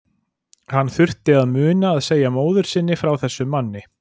Hann þurfti að muna að segja móður sinni frá þessum manni.